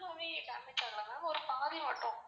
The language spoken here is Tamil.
Full ஆவே damage ஆகல ma'am ஒரு பாதி மட்டும்.